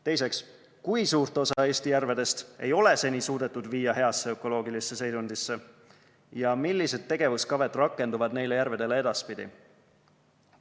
Teiseks, kui suurt osa Eesti järvedest ei ole seni suudetud viia heasse ökoloogilisse seisundisse ja millised tegevuskavad rakenduvad neile järvedele edaspidi?